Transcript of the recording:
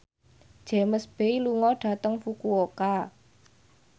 James Bay lunga dhateng Fukuoka